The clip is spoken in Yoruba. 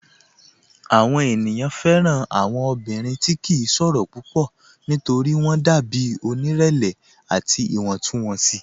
Awọn ènìyàn fẹ́ran awọn ọ̀bìnrin tí kì n ṣòro púpọ̀ nítorí wọn dàbí onírẹ̀lẹ̀ àti iwọntúnwọnsì.